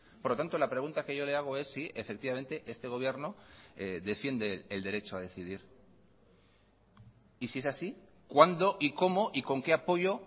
por lo tanto la pregunta que yo le hago es si efectivamente este gobierno defiende el derecho a decidir y si es así cuándo y cómo y con qué apoyo